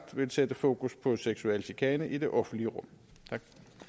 sætte fokus på seksuel chikane i det offentlige rum der